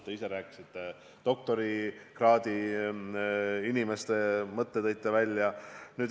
Te ise rääkisite doktorikraadi omandavatest inimestest.